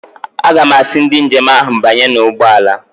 Aga m asị ndị njem ahụ, banyernụ n'ụgbọala!